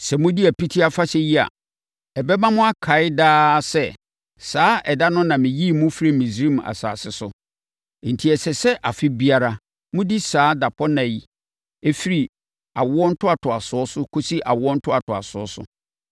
“Sɛ modi Apiti Afahyɛ yi a, ɛbɛma mo akae daa sɛ, saa ɛda no na meyii mo firii Misraim asase so. Enti, ɛsɛ sɛ afe biara, modi saa dapɔnna yi firi awo ntoatoasoɔ so kɔsi awo ntoatoasoɔ so.